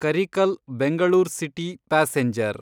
Karikal Bengaluru city passenger